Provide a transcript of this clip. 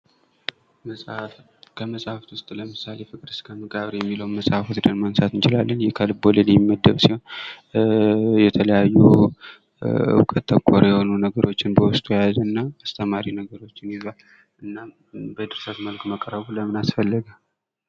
ከመጻፍት ውስጥ ለምሳሌ ፍቅር እስከ መቃብር የሚለው መጽሐፍ ወስደን ማንሳት እንችላለን። ይህ ከልብወለድ የሚመደብ ሲሆን የተለያዩ እውቀት ተኮር የሆኑ ነገሮችን በውስጡ የያዙና አስተማሪ ነገሮችን ይዟል። እናም በድርሰት መልኩ መቅረቡ ለምን አስፈላገ?